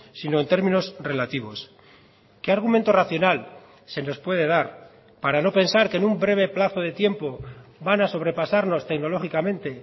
sino en términos relativos qué argumento racional se nos puede dar para no pensar que en un breve plazo de tiempo van a sobrepasarnos tecnológicamente